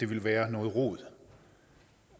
ville være noget rod